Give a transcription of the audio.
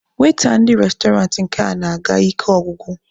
Waita ndị restọrantị nke a na-aga ike ọgwụgwụ.